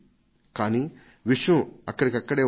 కానీ విషయం ఎక్కడిది అక్కడే ఉండిపోయేది